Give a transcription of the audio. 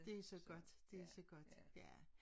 Det så godt det så godt ja